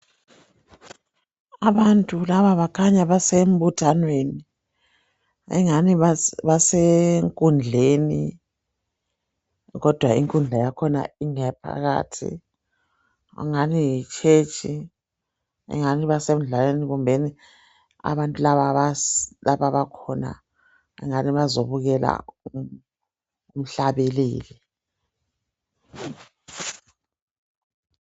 Abantu laba bakhanya basembuthanweni engani basenkundleni kodwa inkundla yakhona ingeyaphakathi ingani yitshetshi ingani basemdlalweni kumbeni abantu laba lapha abakhona kungani bazobukela umhlabeleli